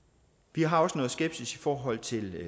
vi har også noget skepsis i forhold til